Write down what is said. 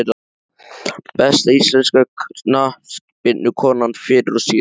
Besta íslenska knattspyrnukonan fyrr og síðar?